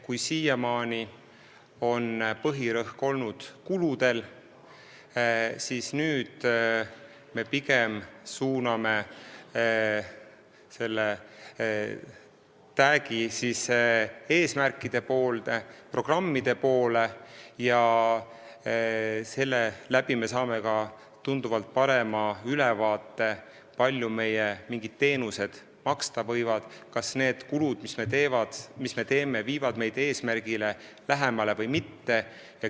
Kui siiamaani on põhirõhk olnud kuludel, siis nüüd me pigem suuname täägi eesmärkide poole, programmide poole ja seeläbi saame ka tunduvalt parema ülevaate, kui palju mingid teenused maksta võivad, kas need kulud, mida me teeme, viivad meid eesmärgile lähemale või mitte.